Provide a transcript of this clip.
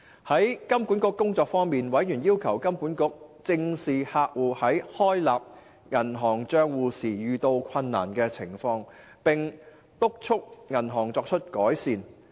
在香港金融管理局的工作方面，委員要求金管局正視客戶在開立銀行帳戶時遇到困難的情況，並督促銀行作出改善。